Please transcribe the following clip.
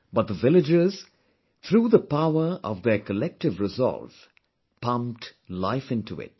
But the villagers, through the power of their collective resolve pumped life into it